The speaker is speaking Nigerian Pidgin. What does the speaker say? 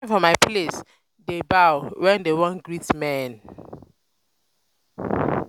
for my place dey bow wen dem wan greet men.